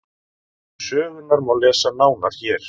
um sögurnar má lesa nánar hér